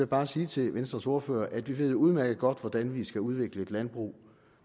bare sige til venstres ordfører at vi udmærket godt ved hvordan vi skal udvikle et landbrug